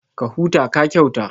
Ka huta, ka kyauta